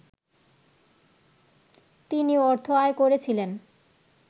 তিনি অর্থ আয় করেছিলেন